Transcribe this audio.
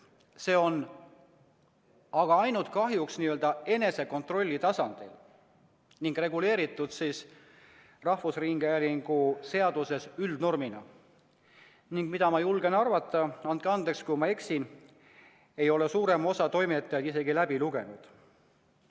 Aga see on kahjuks ainult n-ö enesekontrolli tasandil ja reguleeritud rahvusringhäälingu seaduses üldnormina ning ma julgen arvata – andke andeks, kui ma eksin –, et suurem osa toimetajaid ei ole seda isegi läbi lugenud.